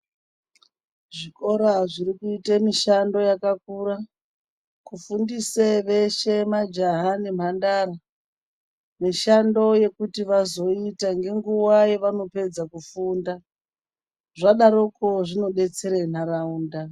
Zvikora zvirikuite mushando yakakura kufundise veshe majaha nembandara mishando yekuti vazoita nenguva yavanopedza kufunda zvadaroko zvinodetsere nharaunda.